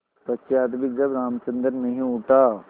पश्चार भी जब रामचंद्र नहीं उठा